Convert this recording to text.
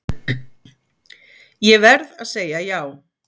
Ég verð að segja já.